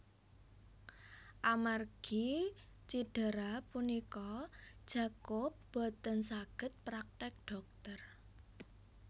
Amargi cidera punika Jacob boten saged praktek dhokter